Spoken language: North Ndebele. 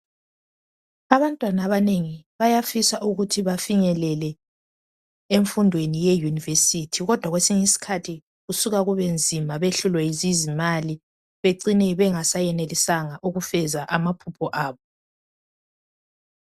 Abantwana abanengi bayafisa ukuthi bafinyelele emfundweni yeyunivesithi kodwa kwesinye isikhathi kusuka kubenzima behlulwe yizimali becine bengasayenelisanga ukufez amaphupho abo.